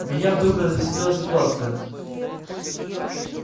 меня вдруг развеселила ситуация